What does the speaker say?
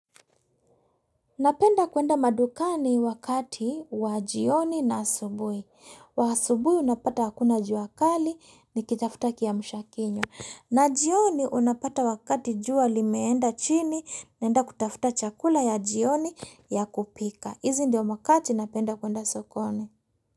Napenda kuenda madukani wakati wa jioni na asubui. Wa asubuhi unapata hakuna juakali ni kitafutaki ya mshakinyo. Na jioni unapata wakati jua limeenda chini naenda kutafuta chakula ya jioni ya kupika. Hizi ndio makati napenda kuenda sukoni.